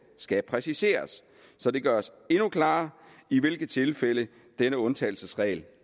skal præciseres så det gøres endnu klarere i hvilke tilfælde denne undtagelsesregel